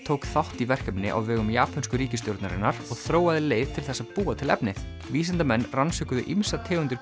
tók þátt í verkefni á vegum japönsku ríkisstjórnarinnar og þróaði leið til þess að búa til efnið vísindamenn rannsökuðu ýmsar tegundir